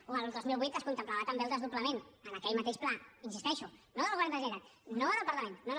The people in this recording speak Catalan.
o al dos mil vuit es contemplava també el desdoblament en aquell mateix pla hi insisteixo no del govern de la generalitat no del parlament no no